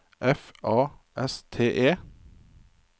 F A S T E